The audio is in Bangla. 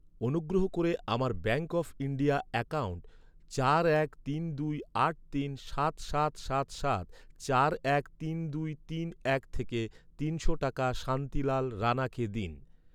অনুগ্রহ করে আমার ব্যাঙ্ক অফ ইন্ডিয়া অ্যাকাউন্ট চার এক তিন দুই আট তিন সাত সাত সাত সাত চার এক তিন দুই তিন এক থেকে তিনশো টাকা শান্তিলাল রাণাকে দিন।